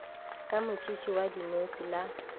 ka motšhitšhi wa dinose la